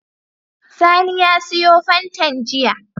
Sani ya siyo fantan jiya